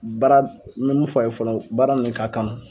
Baara me mun fɔ a ye fɔlɔ baara min ka kan.